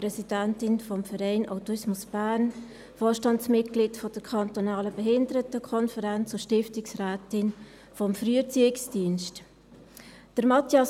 Ich bin Präsidentin des Vereins Autismus Bern, Vorstandsmitglied der Kantonalen Behindertenkonferenz Bern (KBK) und Stiftungsrätin des Früherziehungsdiensts des Kantons Bern (FED).